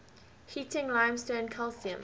heating limestone calcium